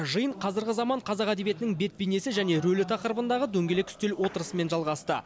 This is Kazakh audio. жиын қазіргі заман қазақ әдебиетінің бет бейнесі және рөлі тақырыбындағы дөңгелек үстел отырысымен жалғасты